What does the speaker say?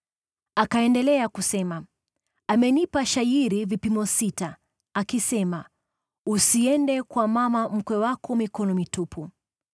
Akaendelea kusema, “Amenipa shayiri vipimo sita akisema, ‘Usiende kwa mama mkwe wako mikono mitupu.’ ”